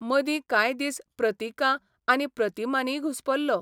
मदीं कांय दीस प्रतिकां आनी प्रतिमांनीय घुस्पलो.